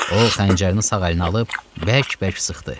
O xəncərini sağ əlinə alıb bərk-bərk sıxdı.